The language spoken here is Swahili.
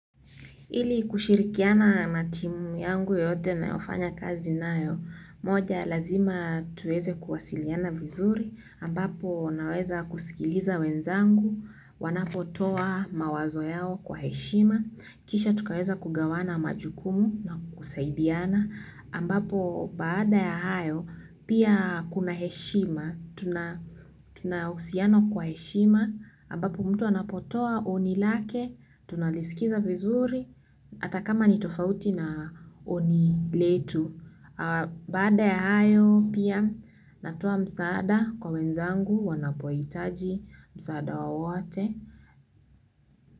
Ili kushirikiana na timu yangu yeyote ninayofanya kazi nayo moja lazima tuweze kuwasiliana vizuri ambapo naweza kuwasikiliza wenzangu wanapotoa mawazo yao kwa heshima, kisha tukaweza kugawana majukumu na kusaidiana, ambapo baada ya hayo, pia kuna heshima, tunahusiana kwa heshima ambapo mtu anapotoa oni lake tunalisikiza vizuri ata kama ni tofauti na oni letu baada ya hayo pia natoa msaada kwa wenzangu wanapohitaji msaada wawate.